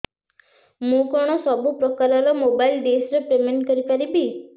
ମୁ କଣ ସବୁ ପ୍ରକାର ର ମୋବାଇଲ୍ ଡିସ୍ ର ପେମେଣ୍ଟ କରି ପାରିବି